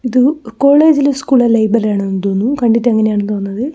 ഇത് കോളേജിലെ സ്കൂളിലേ ലൈബ്രറി ആണെന്ന് തോന്നുന്നു കണ്ടിട്ട് അങ്ങനെയാണ് തോന്നുന്നത്.